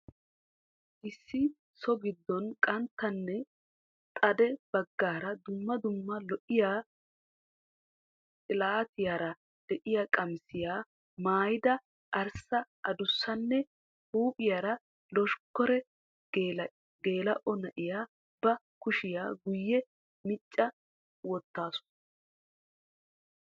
Issi so gidon qanttanne xade bagaara dumma dumma lo'iya xilatiyaara de'iya qamissiya maayida arissa addussanne huuphphiyara loshkkare gelaa'o na'iya ba kushshiya guye micca wottaasu.